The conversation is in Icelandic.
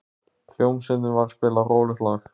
Hljómsveitin var að spila rólegt lag.